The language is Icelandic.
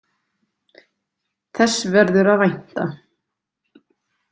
Þess verður að vænta.